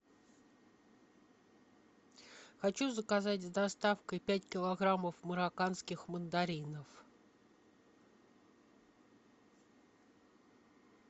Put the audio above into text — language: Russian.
хочу заказать с доставкой пять килограммов марокканских мандаринов